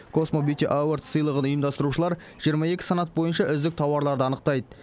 космо бьюти авордс сыйлығын ұйымдастырушылар жиырма екі санат бойынша үздік тауарларды анықтайды